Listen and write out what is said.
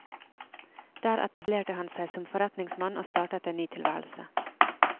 Der etablerte han seg som forretningsmann og startet en ny tilværelse.